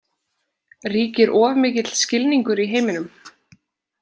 Ríkir of mikill skilningur í heiminum?